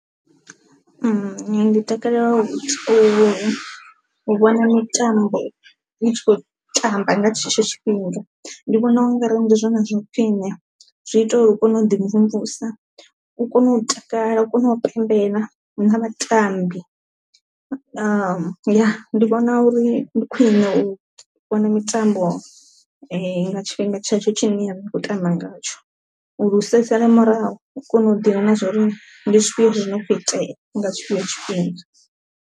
Ndi takalela u vhona mitambo itshi kho tamba nga tshetsho tshifhinga, ndi vhona ungari ndi zwone zwa khwiṋe zwi ita uri u kone u ḓi mvumvusa, u kone u takala, u kone u pembela na vhatambi ya ndi vhona uri ndi khwine u vhona mitambo nga tshifhinga tshetsho tshine ya khou tamba ngatsho uri u sa sale murahu u kone u ḓivha na zwori ndi zwifhio zwi no kho itea nga tshetsho tshifhinga.